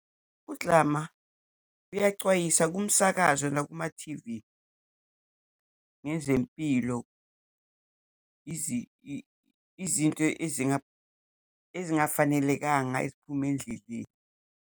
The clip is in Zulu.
Kudlama, uyacwayisa kumsakazo nakumathivi ngezempilo, izinto ezingafanelekanga, eziphume endleleni.